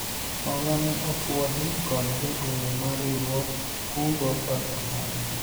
hola ni opwodhi kod jagoro mar riwruog kungo kod hola